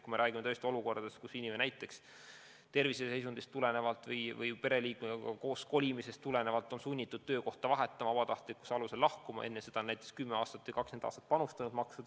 Me räägime olukordadest, kus inimene näiteks terviseseisundist tulenevalt või pereliikmega koos kolimisest tulenevalt on sunnitud töökohta vahetama, vabatahtlikkuse alusel lahkuma, aga enne seda on 10 aastat või 20 aastat panustanud maksude näol.